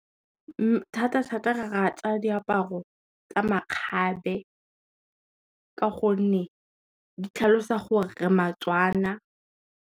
Thata-thata re rata diaparo tsa makgabe, ka gonne di tlhalosa gore re Matswana.